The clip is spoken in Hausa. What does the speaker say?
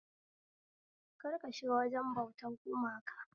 Kar ka shiga wajen bautan gumaka